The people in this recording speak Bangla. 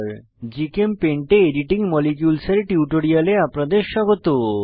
জিচেমপেইন্ট এ এডিটিং মলিকিউলস এর টিউটোরিয়ালে আপনাদের স্বাগত